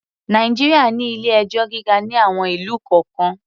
Nàìjíríà ní ilé-ẹjọ́ gíga ní àwon ìlú kọ̀ọ́kan.